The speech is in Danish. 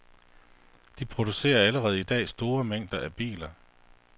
De producerer allerede i dag store mængder af biler.